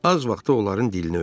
Az vaxtda onların dilini öyrəndi.